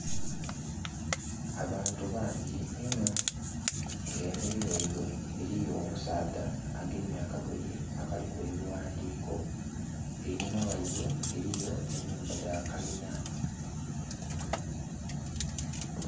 Abantu bangi inho nga emberi ghaibwe eliyo omusaadha agemye akagoye akaliku ebighandhiiko einhuma ghaibwe eliyo ennhumba dha kalina